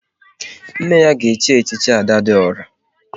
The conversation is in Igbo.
Nne ya ga echi echichi Ada dị ọra mma